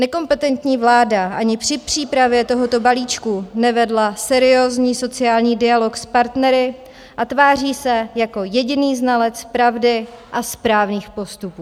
Nekompetentní vláda ani při přípravě tohoto balíčku nevedla seriózní sociální dialog s partnery a tváří se jako jediný znalec pravdy a správných postupů.